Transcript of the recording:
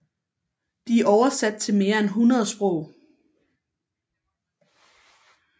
De er oversat til mere end 100 sprog